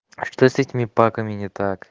что с этими паками не так